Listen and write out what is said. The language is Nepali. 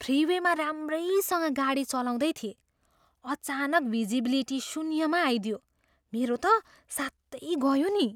फ्रिवेमा राम्रैसँग गाडी चलाउँदै थिएँ, अचानक भिजिबिलिटी शून्यमा आइदियो। मेरो त सातै गयो नि।